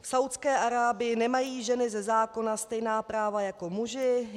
V Saúdské Arábii nemají ženy ze zákona stejná práva jako muži.